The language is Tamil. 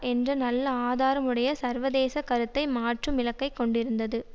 என்ற நல்ல ஆதாரமுடைய சர்வதேசக் கருத்தை மாற்றும் இலக்கை கொண்டிருந்தது